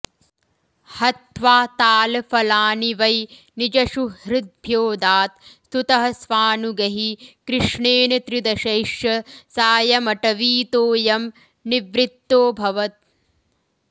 हत्वा तालफलानि वै निजसुहृद्भ्योऽदात् स्तुतः स्वानुगैः कृष्णेन त्रिदशैश्च सायमटवीतोऽयं निवृत्तोऽभवत्